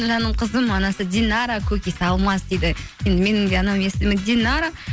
жаным қызым анасы динара көкесі алмас дейді енді менің де анамның есімі динара